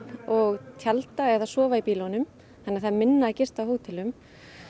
og tjalda eða sofa í bílunum þannig það er minna að gista á hótelunum